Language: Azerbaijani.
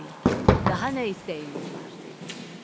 Böyük ata, daha nə istəyiniz var?